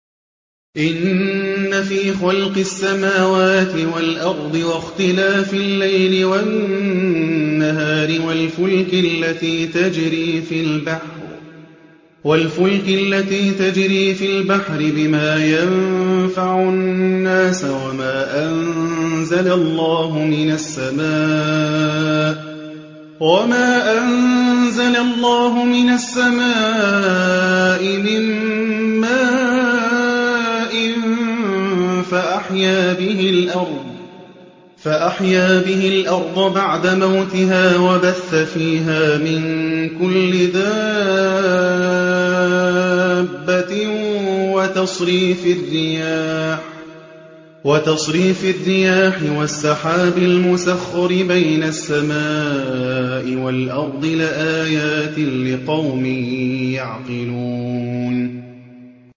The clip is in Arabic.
إِنَّ فِي خَلْقِ السَّمَاوَاتِ وَالْأَرْضِ وَاخْتِلَافِ اللَّيْلِ وَالنَّهَارِ وَالْفُلْكِ الَّتِي تَجْرِي فِي الْبَحْرِ بِمَا يَنفَعُ النَّاسَ وَمَا أَنزَلَ اللَّهُ مِنَ السَّمَاءِ مِن مَّاءٍ فَأَحْيَا بِهِ الْأَرْضَ بَعْدَ مَوْتِهَا وَبَثَّ فِيهَا مِن كُلِّ دَابَّةٍ وَتَصْرِيفِ الرِّيَاحِ وَالسَّحَابِ الْمُسَخَّرِ بَيْنَ السَّمَاءِ وَالْأَرْضِ لَآيَاتٍ لِّقَوْمٍ يَعْقِلُونَ